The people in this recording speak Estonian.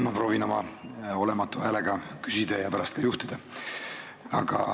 Ma proovin oma olematu häälega küsida ja pärast ka istungit juhatada.